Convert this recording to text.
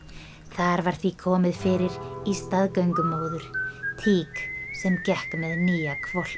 þar var því komið fyrir í staðgöngumóður tík sem gekk með nýja hvolpinn